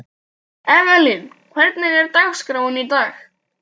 Evelyn, hvernig er dagskráin í dag?